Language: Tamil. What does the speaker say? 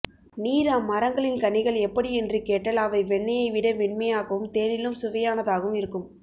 நீர் அம்மரங்களின் கனிகள் எப்படி என்று கேட்டல் அவை வெண்ணையை விட மென்மையாகவும் தேனிலும் சுவையானதாகவும் இருக்கும்